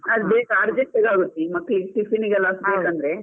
Urgent ಗೆ ಆಗುತ್ತೆ ಈ ಮಕ್ಳಿಗೆ tiffin ಗೆ ಎಲ್ಲ ಬೇಕಂದ್ರೆ.